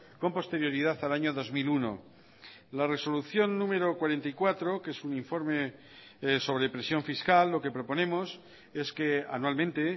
con posterioridad al año dos mil uno la resolución número cuarenta y cuatro que es un informe sobre presión fiscal lo que proponemos es que anualmente